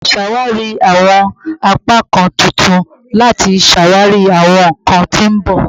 Ṣawari awọn apakan tuntun lati ṣawari awọn nkan ti n bọ